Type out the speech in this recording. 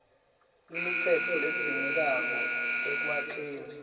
imitsetfo ledzingekako ekwakheni